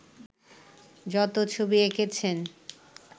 যত ছবি এঁকেছেন